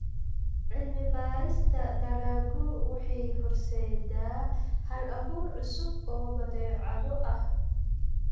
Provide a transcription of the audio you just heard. Cilmi-baarista dalaggu waxay horseeddaa hal-abuur cusub oo badeecado ah.